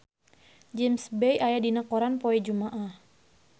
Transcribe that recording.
James Bay aya dina koran poe Jumaah